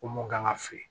Ko mun kan ka fili